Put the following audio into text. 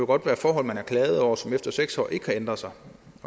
godt være forhold man har klaget over som efter seks år ikke har ændret sig